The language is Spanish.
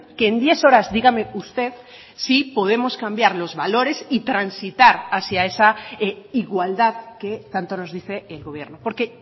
que en diez horas dígame usted si podemos cambiar los valores y transitar hacia esa igualdad que tanto nos dice el gobierno porque